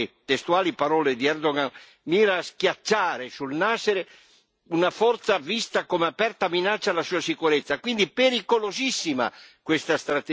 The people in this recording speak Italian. Ora questa offensiva, secondo le testuali parole di Erdogan, mira a schiacciare sul nascere una forza vista come aperta minaccia alla sua sicurezza.